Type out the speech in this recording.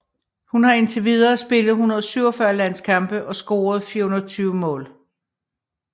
Hun har indtil videre spillet 147 landskampe og scoret 420 mål